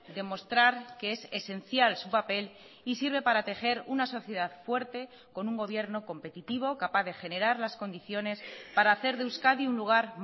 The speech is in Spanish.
demostrar que es esencial su papel y sirve para tejer una sociedad fuerte con un gobierno competitivo capaz de generar las condiciones para hacer de euskadi un lugar